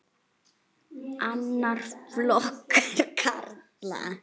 Annar flokkur karla.